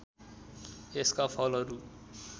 यसका फलहरू